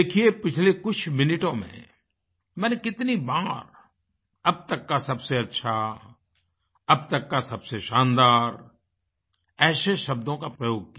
देखिये पिछले कुछ मिनटों में मैंने कितनी बार अब तक का सबसे अच्छा अब तक का सबसे शानदार ऐसे शब्दों का प्रयोग किया